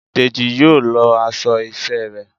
Dejí yóò lọọ aṣọ iṣẹ ré